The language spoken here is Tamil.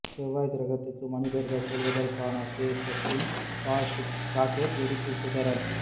செவ்வாய் கிரகத்துக்கு மனிதர்கள் செல்வதற்கான ஸ்பேஸ்எக்சின் ஸ்டார்ஷிப் ராக்கெட் வெடித்து சிதறல்